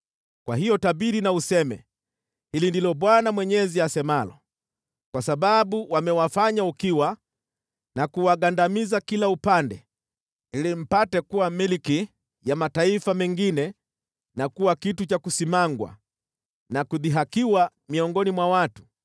Kwa hiyo tabiri na useme, ‘Hili ndilo Bwana Mwenyezi asemalo: Kwa sababu wamewafanya ukiwa na kuwagandamiza kila upande ili mpate kuwa milki ya mataifa mengine na kuwa kitu cha kusimangwa na kudhihakiwa miongoni mwa watu,